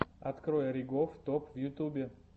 открой ригоф топ в ютюбе